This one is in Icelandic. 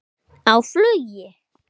Á flugu?